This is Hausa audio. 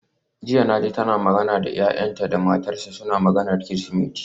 Jiya naji tana magana da yayanta da matarsa, suna maganar Kirsimeti.